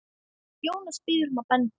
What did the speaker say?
Jónas biður um að benda